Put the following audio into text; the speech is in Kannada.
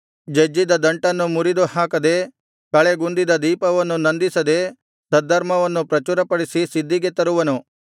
ಜಜ್ಜಿದ ದಂಟನ್ನು ಮುರಿದು ಹಾಕದೆ ಕಳೆಗುಂದಿದ ದೀಪವನ್ನು ನಂದಿಸದೆ ಸದ್ಧರ್ಮವನ್ನು ಪ್ರಚುರಪಡಿಸಿ ಸಿದ್ಧಿಗೆ ತರುವನು